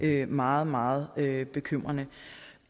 er meget meget bekymrende